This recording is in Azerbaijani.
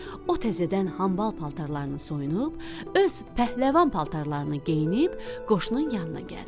O təzədən hambal paltarlarını soyunub, öz pəhləvan paltarını geyinib qoşunun yanına gəldi.